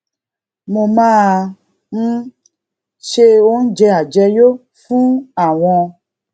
mo máa ń se oúnjẹ àjẹyó fún àwọn